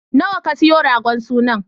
Nawa ka siyo ragon sunan?